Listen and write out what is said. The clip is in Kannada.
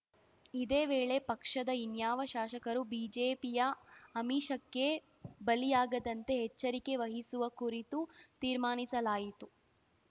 ಇದೇ ವೇಳೆ ಪಕ್ಷದ ಇನ್ಯಾವ ಶಾಸಕರು ಬಿಜೆಪಿಯ ಆಮಿಷಕ್ಕೆ ಬಲಿಯಾಗದಂತೆ ಎಚ್ಚರಿಕೆ ವಹಿಸುವ ಕುರಿತು ತೀರ್ಮಾನಿಸಲಾಯಿತು